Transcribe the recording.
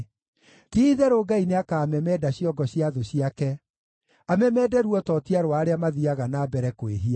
Ti-itherũ Ngai nĩakamemenda ciongo cia thũ ciake, amemende ruototia rwa arĩa mathiiaga na mbere kwĩhia.